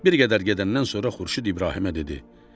Bir qədər gedəndən sonra Xurşud İbrahimə dedi: